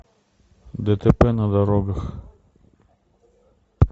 дтп на дорогах